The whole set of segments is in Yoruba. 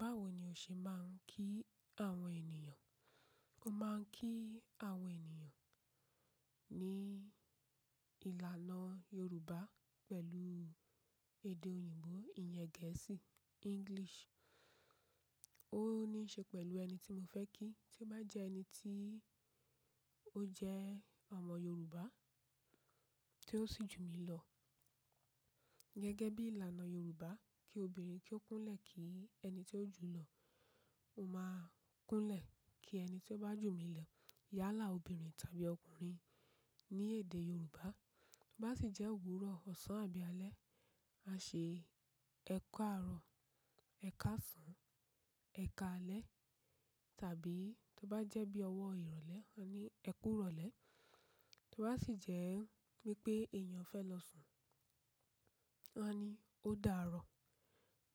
Báwo ni o ṣe máa ń kí àwọn ènìyàn? Mo máa ń kí àwọn ènìyàn ní ìlànà Yorùbá pẹ̀lú èdè òyìnbó, ìyẹn gẹ̀ẹ́sì, English. Ó ní í ṣe pẹ̀lú ẹni tí mo fẹ́ kí. Tí ó bá jẹ́ ẹni tí ó jẹ́ ọmọ Yorùbá tí ó sì jù mí lọ, gẹ́gẹ́ bí ìlànà Yorùbá kí obìnrin kí ó kúnlẹ̀ kí ẹni tí ó jù lọ. Mo máa ń kúnlẹ̀ kí ẹni tí ó bá jù mí lọ. Yálà obìnrin tàbí ọkùnrin ní èdè Yorùbá. Bá sì jẹ́ òwúrọ̀, ọ̀sán àbí alẹ́, a ṣe "ẹ kaarọ", "ẹ káàsán", "ẹ káalẹ́". Tàbí tí ó bá jẹ́ bí ọwọ́ ìrọ̀lẹ́, a ní "ẹ kú ìrọ̀lẹ́". Tí ó bá sì jẹ́ pé èèyàn fẹ́ lọ sùn, a ní "ó dà á rọ̀".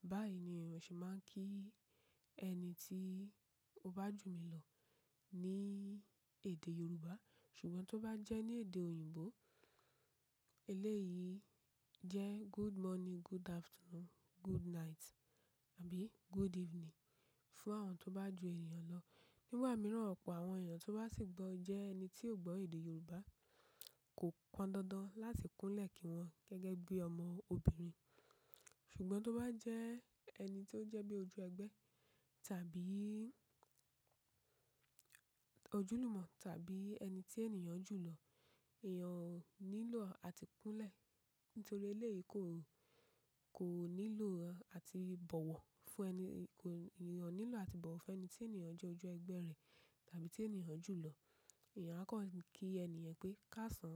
Báyìí ni èèyàn ṣe máa ń kí ẹni tí ó bá jù mí lọ ní èdè Yorùbá. Ṣùgbọ́n tí ó bá jẹ́ ní èdè òyìnbó, eléyìí jẹ́ "good morning", "good afternoon", "good night" àbí "good evening" fún àwọn tó bá ju èèyàn lọ. Nígbà mìíràn ọ̀pọ̀ àwọn èèyàn tó bá sì gbọ́ jẹ ẹni tí ò gbọ́ èdè Yorùbá kò pọn dandan láti kúnlẹ̀ kí wọn gẹ́gẹ́ bí ọmọ obìnrin. Ṣùgbọ́n tí ó bá jẹ́ ẹni tó jẹ́ bí ojú ẹgbẹ́ tàbí ojúlùmọ̀ tàbí ẹni tí èèyàn jù lọ, èèyàn ko nílò àti kúnlẹ̀. Nítorí eléyìí kò, kò nílò àti ìbọ̀wọ̀ fún ẹni, kò, èèyàn nílò àti ìbọ̀wọ̀ fún ẹni tí èèyàn jẹ́ ojú ẹgbẹ́ rẹ̀ tàbí tí èèyàn jù lọ. Ẹ̀yàn á kọ kí èèyàn pé "káàsán",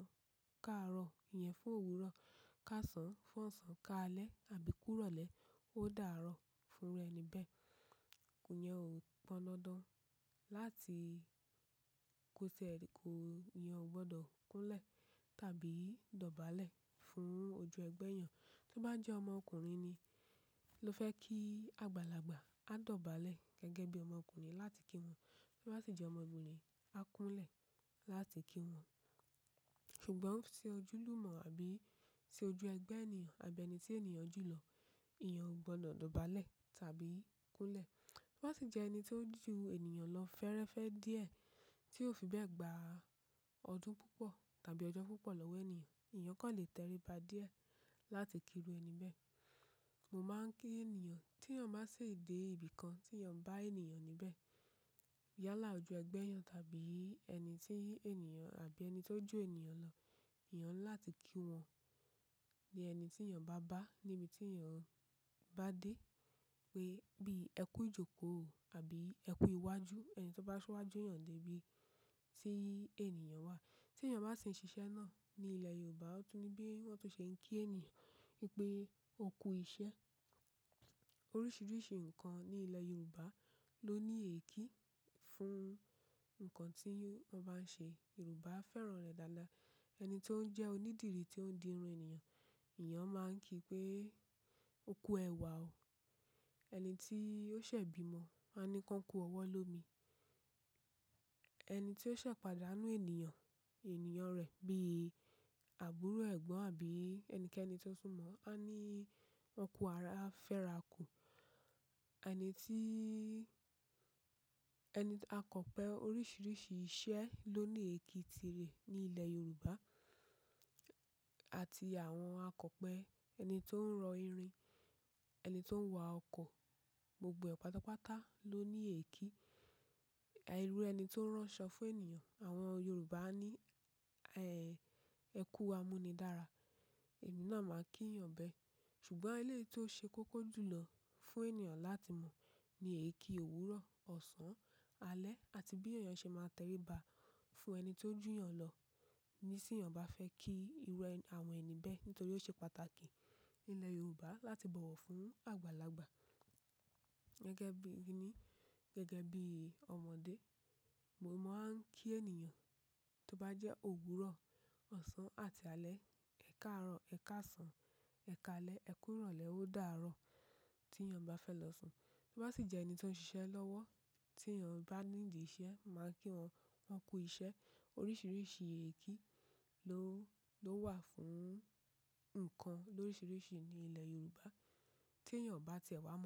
"káàárọ̀" ìyẹn fún òwúrọ̀. "Káàsán" fún ọ̀sán, "káalẹ́" àbí "kú ìrọ̀lẹ́", "ó dà á rọ̀" fún ẹni bẹ́ẹ̀. Mo máa ń kí àwọn ènìyàn ní ìlànà Yorùbá pẹ̀lú èdè òyìnbó, ìyẹn gẹ̀ẹ́sì, English. Tí ó bá jẹ́ ọmọkùnrin ni ló fẹ́ kí àgbàlagbà a dọ̀bálẹ̀ gẹ́gẹ́ bí ọmọkùnrin láti kí wọn. Tí ó bá sì jẹ́ ọmọbìnrin, a kúnlẹ̀ láti kí wọn. Ṣùgbọ́n tí ó jẹ́ ojúlùmọ̀ àbí ti ojú ẹgbẹ́ èèyàn àbí ẹni tí èèyàn jù lọ, èèyàn ò gbọdọ̀ dọ̀bálẹ̀ tàbí kúnlẹ̀. Tí ó bá sì jẹ́ ẹni tó jù èèyàn lọ fẹ́rẹ́fẹ́ díẹ̀ tí ó fi bẹ́ẹ̀ gba ọdún púpọ̀ tàbí ọjọ́ púpọ̀ lọ́wọ́ èèyàn, èèyàn kò lè tẹríba díẹ̀ láti kíru ẹni bẹ́ẹ̀. Mo máa ń kí èèyàn tí èèyàn bá sì dé ibìkan tí èèyàn bá èèyàn níbẹ̀. Yálà ojú ẹgbẹ́ èèyàn tàbí ẹni tíi èèyàn àbí ẹni tó jù èèyàn lọ. Ẹ̀yàn ńlá ti kí wọn ní ẹni tí èèyàn bá bá níbi tí èèyàn bá dé pé bí "ẹ kú ìjókòó" àbí "ẹ kú ìwájú". Ẹni tí ó bá síwájú èèyàn dé ibi tí èèyàn wà. Tí èèyàn bá sì ń ṣiṣẹ́ náà ní ilẹ̀ Yorùbá, ó tún ní bí wọ́n tó ṣe ń kí èèyàn wípé "o kú isẹ́". Oríṣiríṣi nǹkan ní ilẹ̀ Yorùbá ló ní èké fún nǹkan tí wọ́n bá ń ṣe. Yorùbá fẹ́ràn rẹ̀ dáadáa. Ẹni tó ń jẹ́ onídìrí tí ó ń di irun èèyàn, èèyàn máa ń kí pé "o kú ẹwà o". Ẹni tí ó ṣẹ̀ bímo á ní "kọ́ kú ọwọ́ lómi". Ẹni tí ó ṣẹ̀ padàá nú ènìyàn, ènìyàn rẹ̀ bí àbúrò ẹ̀gbọ́n àbí ẹnikẹ́ni tó súnmọ́ á ní "ọ kú ara, a fẹ́ rà á kú". Ẹni tí, ẹni, akọ̀pe oríṣiríṣi iṣẹ́ ló ní èké tirẹ̀ ní ilẹ̀ Yorùbá. Àti àwọn akọ̀pe ẹni tó ń rọ irin, ẹni tó ń wá ọkọ̀, gbogbo e pátápátá ló ní èké. Irù ẹni tó ń ránṣọ fún èèyàn, àwọn Yorùbá á ní, "ẹ kú amúnidára". Èmi náà máa ń kí èèyàn bẹ́ẹ̀. Ṣùgbọ́n eléyìí tó ṣe kókó jùlọ fún èèyàn láti mọ̀ ni èeki òwúrọ̀, ọ̀sán, alẹ́ àti bí èèyàn ṣe máa tẹríba fún ẹni tó jù èèyàn lọ níṣẹ́ èèyàn bá fẹ́ kí irú àwọn ẹni bẹ́ẹ̀ nítorí ó ṣe pàtàkì ní ilẹ̀ Yorùbá láti bọ̀wọ̀ fún àgbàlagbà. Gẹ́gẹ́ bí ìní, gẹ́gẹ́ bí ọmọdé, mo máa ń kí èèyàn tí ó bá jẹ́ òwúrọ̀, ọ̀sán àti alẹ́ "ẹ kaarọ", "ẹ káàsán", "ẹ káalẹ́", "ẹ kú ìrọ̀lẹ́", "ó dà á rọ̀" tí èèyàn bá fẹ́ lọ sùn. Tí ó bá sì jẹ́ ẹni tí ó ń ṣiṣẹ́ lọ́wọ́ tí èèyàn bá nídi iṣẹ́ máa ń kí wọn "ọ kú iṣẹ́". Oríṣiríṣi èeki ló wà fún nǹkan oríṣiríṣi ní ilẹ̀ Yorùbá tí èèyàn ò bá tẹ̀ wá mọ̀.